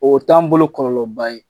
Oo t'an bolo kɔlɔlɔba ye.